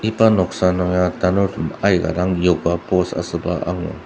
iba noksa nung ya tanurtem aika dang yoga post asüba angur.